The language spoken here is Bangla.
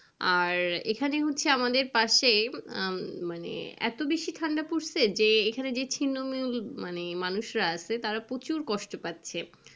আর এখানে হচ্ছে আমাদের পাশে আহ মানে এতো বেশি ঠান্ডা পড়েছে যে এখানে মানে মানুষরা আছে তারা প্রচুর কষ্ট পাচ্ছে।